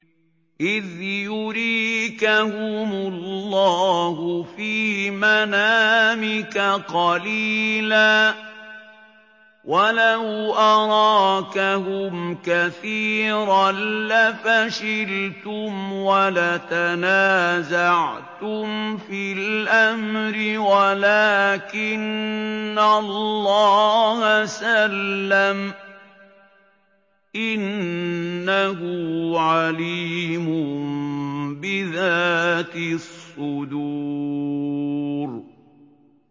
إِذْ يُرِيكَهُمُ اللَّهُ فِي مَنَامِكَ قَلِيلًا ۖ وَلَوْ أَرَاكَهُمْ كَثِيرًا لَّفَشِلْتُمْ وَلَتَنَازَعْتُمْ فِي الْأَمْرِ وَلَٰكِنَّ اللَّهَ سَلَّمَ ۗ إِنَّهُ عَلِيمٌ بِذَاتِ الصُّدُورِ